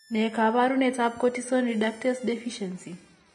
Ne kaabarunetap Cortisone reductase deficiency?